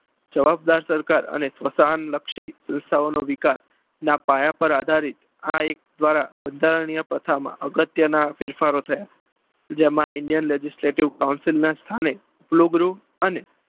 જવાબદાર સરકાર અને સુશાંતલક્ષી સંસ્થાઓનો વિકાસના પાયા પર આધારિત એક્ટ દ્વારા આ બંધારણીય પ્રથમ અગત્યના ફેરફારો થયા. જેમાં indian legislative council ના સ્થાને રૂબરૂ અને